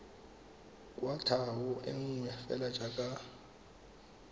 kwatlhao e nngwe fela jaaka